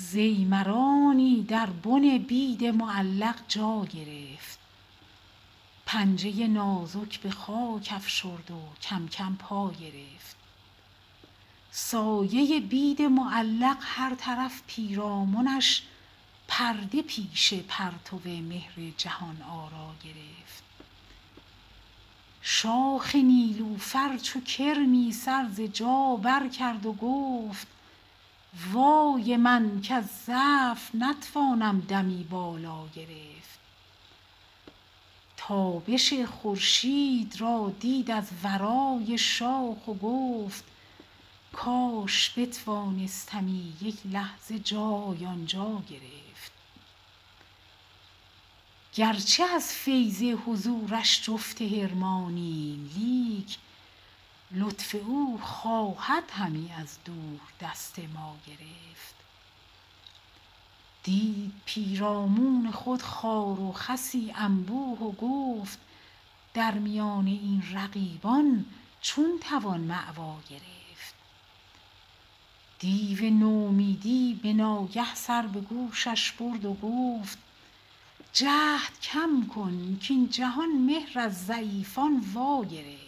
ضیمرانی در بن بید معلق جا گرفت پنجه نازک به خاک افشرد و کم کم پا گرفت سایه بید معلق هر طرف پیرامنش پرده پیش پرتو مهر جهان آرا گرفت شاخ نیلوفر چو کرمی سر ز جا برکرد و گفت وای من کز ضعف نتوانم دمی بالا گرفت تابش خورشید را دید از ورای شاخ و گفت کاش بتوانستمی یک لحظه جای آنجا گرفت گرچه از فیض حضورش جفت حرمانیم لیک لطف او خواهد همی از دور دست ما گرفت دید پیرامون خود خار و خسی انبوه و گفت در میان این رقیبان چون توان مأوا گرفت دیو نومیدی ز ناگه سر به گوشش برد و گفت جهد کم کن کاین جهان مهر از ضعیفان واگرفت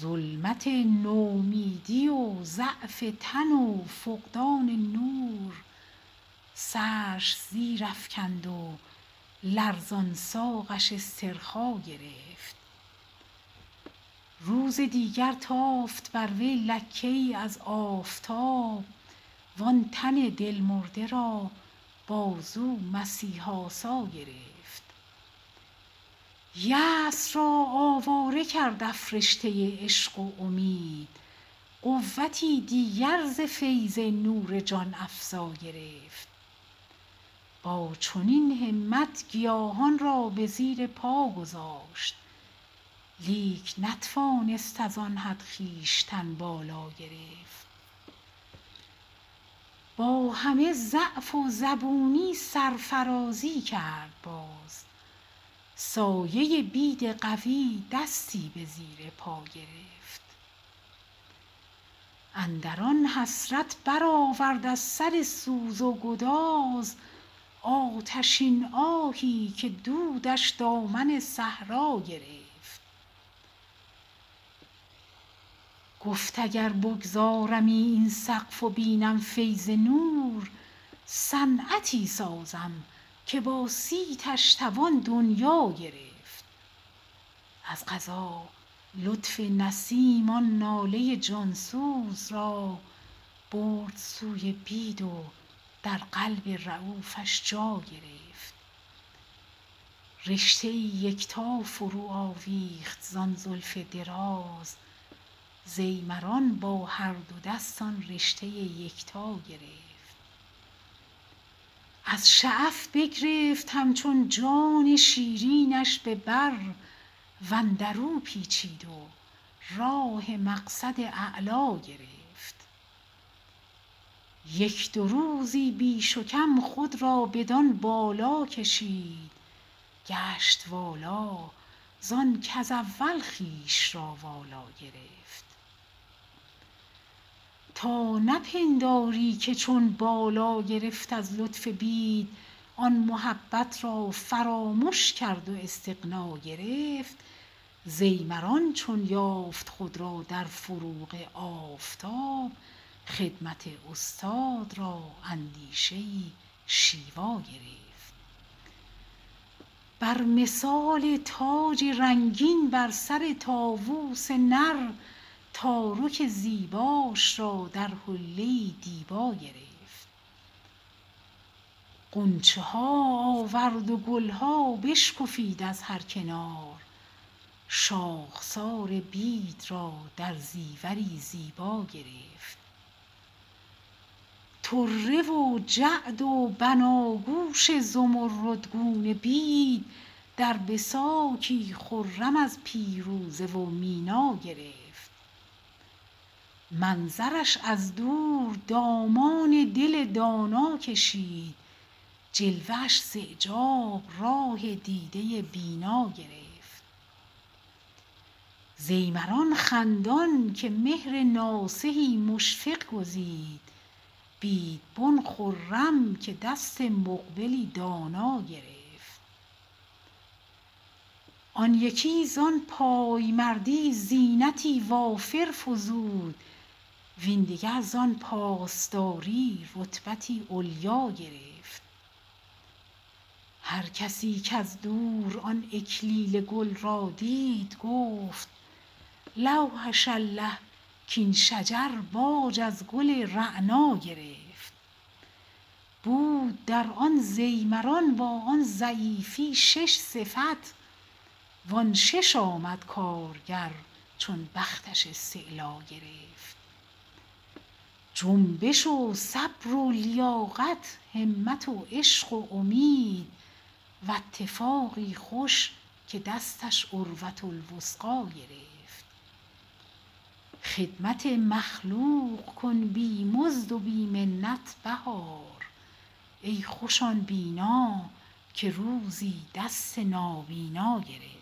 ظلمت نومیدی و ضعف تن و فقدان نور سرش زیر افکند و لرزان ساقش استرخا گرفت روز دیگر تافت بر وی لکه ای از آفتاب وآن تن دل مرده را بازو مسیح آسا گرفت یاس را آواره کرد افرشته عشق و امید قوتی دیگر ز فیض نور جان افزا گرفت با چنین همت گیاهان را به زیر پا گذاشت لیک نتوانست از آن حد خویشتن بالا گرفت با همه ضعف و زبونی سرفرازی کرد و باز سایه بید قوی دستی به زیر پا گرفت اندر آن حسرت برآورد از سر گرم و گداز آتشین آهی که دودش دامن صحرا گرفت گفت اگر بگذارمی این سقف و بینم فیض نور صنعتی سازم که با صیتش توان دنیا گرفت از قضا لطف نسیم آن ناله جانسوز را برد سوی بید و در قلب ریوفش جا گرفت رشته ای یکتا فرو آویخت زان زلف دراز ضیمران با هر دو دست آن رشته یکتا گرفت از شعف بگرفت همچون جان شیرینش به بر وندر او پیچید و راه مقصد اعلا گرفت یک دو روزی بیش وکم خود را بدان بالا کشید گشت والا زان کز اول خویش را والا گرفت تا نپنداری که چون بالا گرفت از لطف بید آن محبت را فراموش کرد و استغنا گرفت ضیمران چون یافت خود را در فروغ آفتاب خدمت استاد را اندیشه ای شیوا گرفت بر مثال تاج رنگین بر سر طاووس نر تارک زیباش را در حله دیبا گرفت غنچه ها آورد و گل ها بشکفید از هر کنار شاخسار بید را در زیوری زیبا گرفت طره و جعد و بناگوش زمردگونش را در بساکی خرم از پیروزه و مینا گرفت منظرش از دور دامان دل دانا کشید جلوه اش زاعجاب راه دیده بینا گرفت ضیمران خندان که مهر ناصحی مشفق گزید بیدبن خرم که دست مقبلی دانا گرفت آن یکی زان پایمردی زینتی وافر فزود وین دگر زان پاسداری رتبتی علیا گرفت هرکسی کاز دور آن اکلیل گل را دید گفت لوحش الله کاین شجر تاج از گل رعنا گرفت بود از نیلوفری با آن ضعیفی شش صفت وان شش آمد کارگر چون بختش استعلا گرفت جنبش و صبر و لیاقت همت و عشق و امید و اتفاقی خوش که دستش عروةالوثقی گرفت خدمت مخلوق کن بی مزد و بی منت بهار ای خوش آن بینا که روزی دست نابینا گرفت